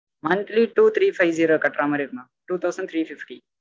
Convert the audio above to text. monthly two three five zero கட்றமாறி இருக்கும் mam two thousand three fifty